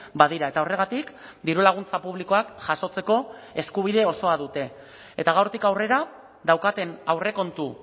badira eta horregatik dirulaguntza publikoak jasotzeko eskubide osoa dute eta gaurtik aurrera daukaten aurrekontu